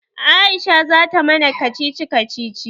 Aisha zata mana kacici kacici.